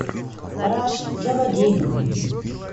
раш заводи